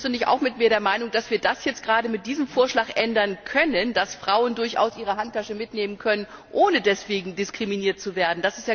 Bist du nicht auch mit mir der Meinung, dass wir das jetzt gerade mit diesem Vorschlag ändern können, dass Frauen durchaus ihre Handtasche mitnehmen können, ohne deswegen diskriminiert zu werden?